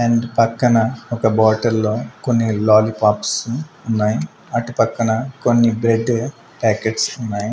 And పక్కన ఒక bottle లో కొన్ని లాలీపాప్స్ ఉన్నాయి అటుపక్కన కొన్ని బ్రెడ్ ప్యాకెట్స్ ఉన్నాయ్.